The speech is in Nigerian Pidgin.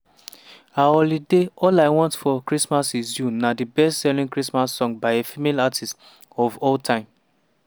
her holiday single all i want for christmas is you na di best-selling christmas song by a female artist of all time.